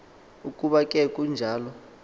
ukuba ke kunjalo